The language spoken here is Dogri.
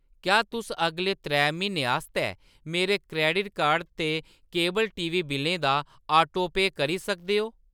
क्या तुस अगले त्रै म्हीनें आस्तै मेरे क्रैडिट कार्ड ते केबल टीवी बिल्लें दा ऑटोपेऽ करी सकदे ओ ?